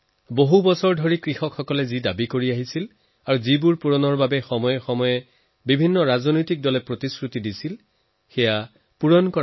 বছৰ বছৰ ধৰি কৃষকৰ যি দাবী আছিল যি দাবী পূৰণ কৰিবলৈ কোনো নহয় কোনো সময়ত প্ৰত্যেক ৰাজনৈতিক দলে তেওঁলোকক প্ৰতিশ্ৰুতি দিছিল সেই দাবীসমূহ পূৰণ হৈছে